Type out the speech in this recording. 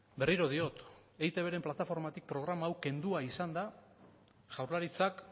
berriro diot eitbren plataformatik programa hau kendua izan da jaurlaritzak